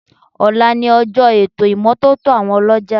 Ọ̀la ni ọjọ́ ètò ìmọ́tótó àwọn ọlọ́jà